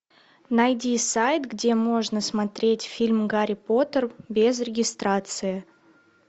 найди сайт где можно смотреть фильм гарри поттер без регистрации